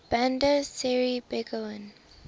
bandar seri begawan